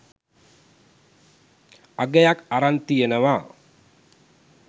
අගයක් අරන් තියනවා.